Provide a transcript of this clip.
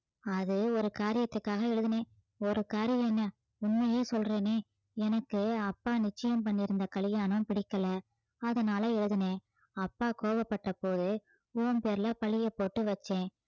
அது ஒரு காரியத்துக்காக எழுதினேன் ஒரு காரியம் என்ன உண்மையே சொல்றேனே எனக்கு அப்பா நிச்சயம் பண்ணி இருந்த கல்யாணம் பிடிக்கல அதனால எழுதினேன் அப்பா கோபப்பட்ட போது உன் பேர்ல பழிய போட்டு வச்சேன்